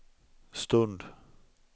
stund